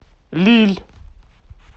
лилль